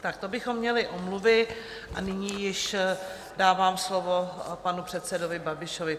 Tak to bychom měli omluvy a nyní již dávám slovo panu předsedovi Babišovi.